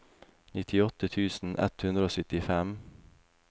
nittiåtte tusen ett hundre og syttifem